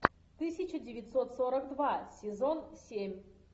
тысяча девятьсот сорок два сезон семь